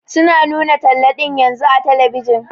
Su na nuna talla ɗin yanzun a telebijin.